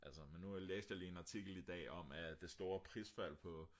altså men nu læste jeg lige en artikel i dag om at det store prisfald på